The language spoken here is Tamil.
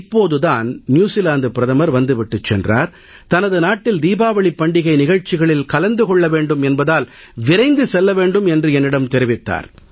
இப்போது தான் நியூசீலாந்து பிரதமர் வந்து விட்டுச் சென்றார் தனது நாட்டில் தீபாவளிப் பண்டிகை நிகழ்ச்சிகளில் கலந்து கொள்ள வேண்டும் என்பதால் விரைவாகச் செல்ல வேண்டும் என்று என்னிடம் தெரிவித்தார்